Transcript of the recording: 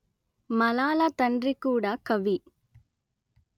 మలాలా తండ్రి కూడా కవి